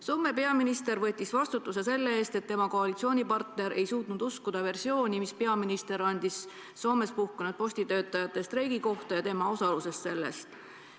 Soome peaminister võttis vastutuse selle eest, et tema koalitsioonipartner ei suutnud uskuda versiooni, mille peaminister käis välja, seletades Soomes puhkenud postitöötajate streiki ja tema osalust selles.